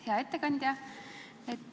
Hea ettekandja!